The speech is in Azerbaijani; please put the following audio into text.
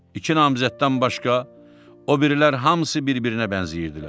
İki namizəddən başqa o birilər hamısı bir-birinə bənzəyirdilər.